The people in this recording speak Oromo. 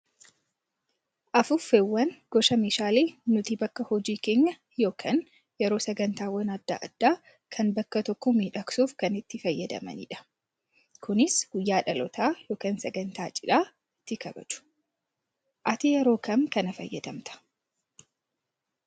Afuuffeewwan gosa meeshaalee nuti bakka hojii keenyaa yookaan yeroo sagantaawwan adda addaa kan bakka tokko miidhagsuuf kan itti fayyadamanidha. Kunis guyyaa dhalootaa yookaan sagantaa cidhaa ittiin kabaju. Ati yeroo kam kana fayyadamtaa?